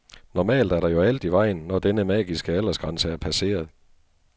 Normalt er der jo alt i vejen, når denne magiske aldersgrænse er passeret.